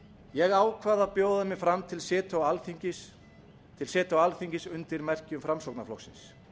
ég ákvað að bjóða mig fram til setu á alþingi undir merkjum framsóknarflokksins